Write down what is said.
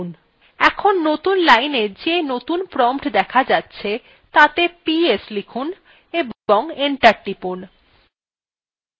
এখন নতুন lineএ যে নতুন prompt দেখা যাচ্ছে তাতে ps লিখুন এবং enter টিপুন